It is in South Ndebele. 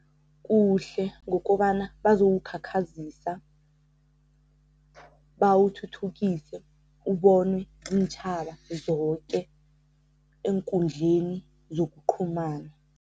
Kuhle, ngokobana bazowukhakhazisa, bawuthuthukise, ubonwe ziintjhaba zoke eenkundleni zokuqhumana.